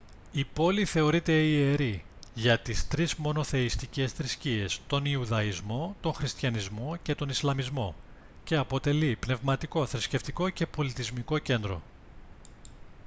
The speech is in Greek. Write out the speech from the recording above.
η πόλη θεωρείται ιερή για τις τρεις μονοθεϊστικές θρησκείες τον ιουδαϊσμό τον χριστιανισμό και τον ισλαμισμό και αποτελεί πνευματικό θρησκευτικό και πολιτισμικό κέντρο